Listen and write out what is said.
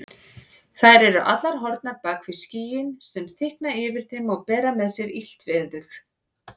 Þær eru allar horfnar bak við skýin sem þykkna yfir þeim og bera með sér illt veður.